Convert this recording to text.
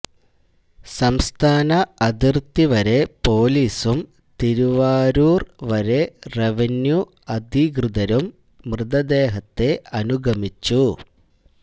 സംസ്ഥാന അതിര്ത്തി വരെ പോലീസും തിരുവാരൂര് വരെ റവന്യൂ അധികൃതരും മൃതദേഹത്തെ അനുഗമിച്ചു